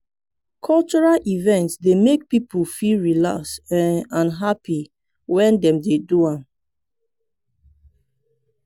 cultural event dey make people feel relax um and happy when dem dey do am.